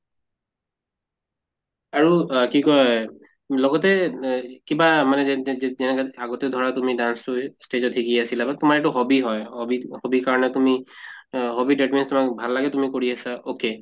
আৰু আহ কি কয় লগতে এহ কিবা মানে আগতে ধৰা তুমি dance তোই stage ত শিকি আছিলা বা তোমাৰ এইটো hobby হয় hobby ত hobby ৰ কাৰণে তুমি আহ hobby that means তোমাক ভাল লাগে তুমি কৰি আছে okay